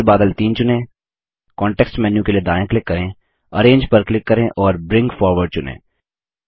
फिर बादल 3 चुनें कॉन्टेक्स्ट मेन्यू के लिए दायाँ क्लिक करें अरेंज पर क्लिक करें और ब्रिंग फॉरवर्ड चुनें